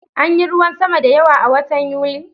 Anyi ruwan sama da yawa a watan Yuli